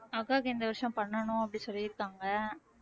அக்காவுக்கு இந்த வருஷம் பண்ணணும் அப்படி சொல்லியிருக்காங்க